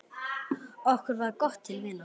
Okkur varð gott til vina.